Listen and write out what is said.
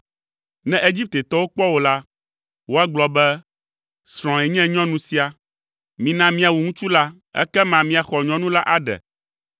Ne Egiptetɔwo kpɔ wò la, woagblɔ be, ‘Srɔ̃ae nye nyɔnu sia, mina míawu ŋutsu la ekema míaxɔ nyɔnu la aɖe!’